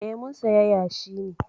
Eh, mun saya yashi ne.